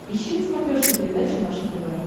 ищи на смотрешке передачу наше тв